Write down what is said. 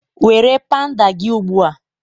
Were pandal gị ugbu a!